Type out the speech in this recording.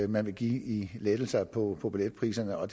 man vil give i lettelser på på billetpriserne og